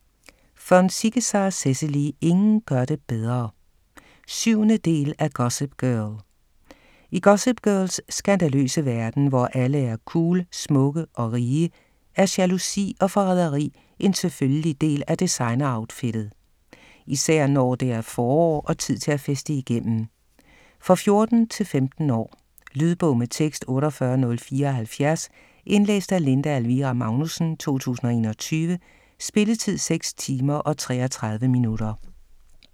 Von Ziegesar, Cecily: Ingen gør det bedre 7. del af Gossip girl. I Gossip Girls skandaløse verden, hvor alle er cool, smukke og rige, er jalousi og forræderi en selvfølgelig del af designer-outfittet. Især når det er forår og tid til at feste igennem. For 14-15 år. Lydbog med tekst 48074 Indlæst af Linda Elvira Magnussen, 2021. Spilletid: 6 timer, 33 minutter.